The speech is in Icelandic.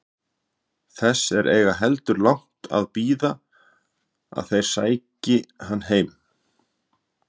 Þess er eigi heldur langt að bíða að þeir sæki hann heim.